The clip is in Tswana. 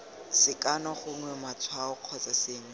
sekano gongwe matshwao kgotsa sengwe